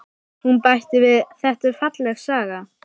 Hún bætti við: Þetta er falleg saga.